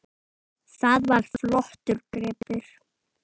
Það var flottur gripur.